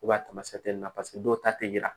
a tamasiyɛn nun na paseke dɔw ta tɛ yira